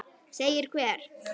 Segir hver?